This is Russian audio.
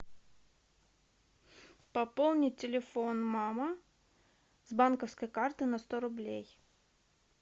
пополнить телефон мама с банковской карты на сто рублей